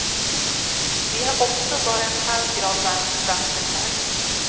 Vi har också bara en halv grad varmt i vattnet här.